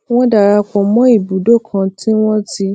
wón darapò mó ibùdó kan tí wón ti